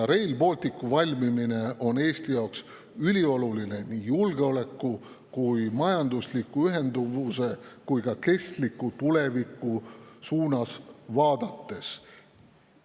Rail Balticu valmimine on Eesti jaoks ülioluline nii julgeoleku, majandusliku ühenduse kui ka kestliku tuleviku koha pealt vaadates.